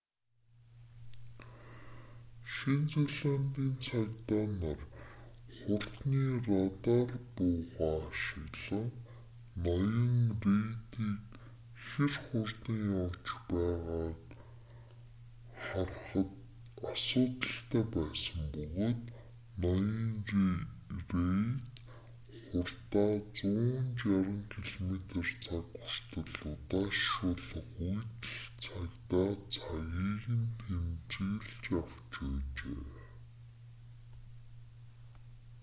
шинэ зеландын цагдаа нар хурдны радар буугаа ашиглан ноён рейдийг хэр хурдтай явж байгааг харахад асуудалтай байсан бөгөөд ноён рейд хурдаа 160 км/цаг хүртэл удаашруулах үед л цагдаа цагийг нь тэмдэглэж авч байжээ